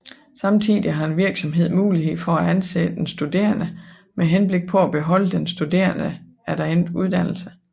Samtidig har en virksomhed mulighed for at ansætte en studerende med henblik på at beholde den studerende efter endt uddannelse